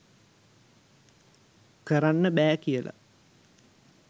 කරන්න බැ කියල